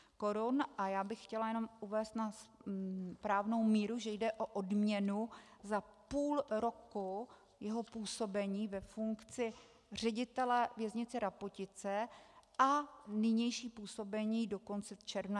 A já bych chtěla jenom uvést na správnou míru, že jde o odměnu za půl roku jeho působení ve funkci ředitele Věznice Rapotice a nynější působení do konce června.